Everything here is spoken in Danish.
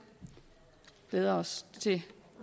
glæder os til